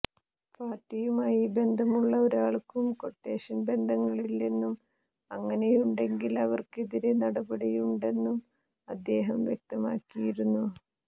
പാർട്ടിയുമായി ബന്ധമുള്ള ഒരാൾക്കും ക്വട്ടേഷൻ ബന്ധങ്ങളില്ലെന്നും അങ്ങനെയുണ്ടെങ്കിൽ അവർക്കെതിരെ നടപടിയുണ്ടായിട്ടുണ്ടെന്നും അദ്ദേഹം വ്യക്തമാക്കിയിരുന്നു